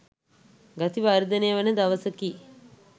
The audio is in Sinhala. ගති වර්ධනය වන දවසකි.